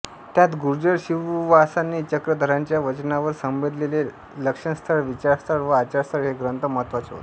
त्यात गुर्जर शिववासाने चक्रधरांच्या वचनांवर संबंधिलेले लक्षणस्थळ विचारस्थळ व आचारस्थळ हे ग्रंथ महत्त्वाचे होत